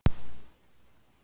Kristnesspítala